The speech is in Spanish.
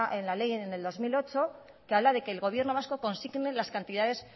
en la ley en el dos mil ocho que habla de que el gobierno vasco consigne las cantidades